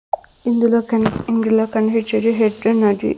ఇందులో కనిప్ ఇందులో కనిపించేవి నది.